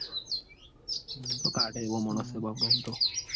તો કાઢ એવો મોણસ સ બાપડો ઓમ તો